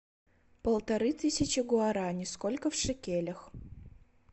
полторы тысячи гуарани сколько в шекелях